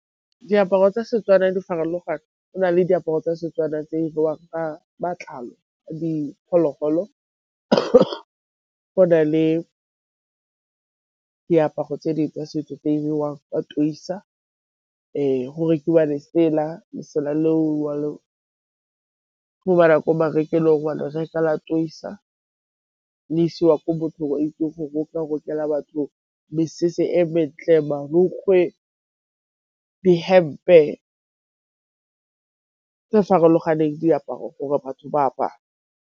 Diaparo tsa Setswana di farologane, go na le diaparo tsa Setswana tse di diriwang ka matlalo a diphologolo. Go na le diaparo tse dingwe go rekiwa lesela, lesela le o ko marekelong wa le reka . Le isiwa ko mothong o itseng go roka, o rokela batho mesese e mentle, marukgwe, dihempe tse farologaneng, diaparo gore batho ba apare.